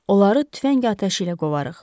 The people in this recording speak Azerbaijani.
Onları tüfəng atəşi ilə qovarıq.